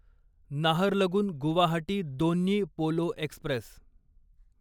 Naharlagun Guwahati Donyi Polo Express